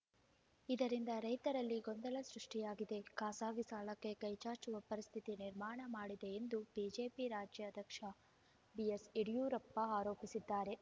ಇದರಿಂದ ರೈತರಲ್ಲಿ ಗೊಂದಲ ಸೃಷ್ಟಿಯಾಗಿದೆ ಖಾಸಗಿ ಸಾಲಕ್ಕೆ ಕೈಚಾಚುವ ಪರಿಸ್ಥಿತಿ ನಿರ್ಮಾಣ ಮಾಡಿದೆ ಎಂದು ಬಿಜೆಪಿ ರಾಜ್ಯಾಧ್ಯಕ್ಷ ಬಿಎಸ್‌ಯಡಿಯೂರಪ್ಪ ಆರೋಪಿಸಿದ್ದಾರೆ